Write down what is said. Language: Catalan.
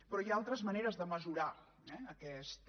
però hi ha altres maneres de mesurar eh aquesta